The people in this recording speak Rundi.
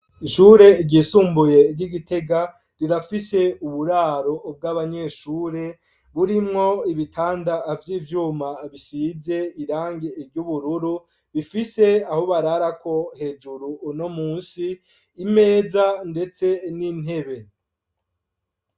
Ishure ryisumbuye ry'Igitega rirafise uburaro bw'abanyeshure ,burimwo ibitanda vyivyuma bisize irangi iry'ubururu ,bifise aho bararako hejuru no munsi imeza ndetse n'intebe.